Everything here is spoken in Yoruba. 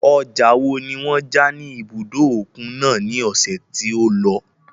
Ọjà wo ni wọ́n ja ní ibùdó òkun náà ní ọ̀sẹ̀ tí ó lọ?